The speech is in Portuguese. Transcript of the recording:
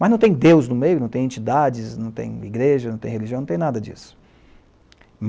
Mas não tem Deus no meio, não tem entidades, não tem igreja, não tem religião, não tem nada disso.